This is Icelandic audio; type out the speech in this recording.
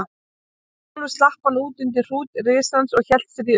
Sjálfur slapp hann út undir hrút risans og hélt sér í ullina.